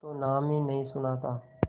तो नाम ही नहीं सुना था